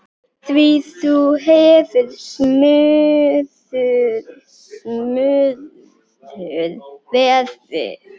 Því þú hefur smurður verið.